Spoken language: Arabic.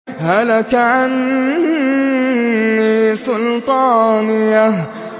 هَلَكَ عَنِّي سُلْطَانِيَهْ